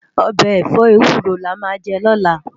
Òbè èfò éwúró lámà jè lòlá